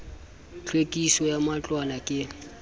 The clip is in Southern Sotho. tlhwekiso ya matlwana ke le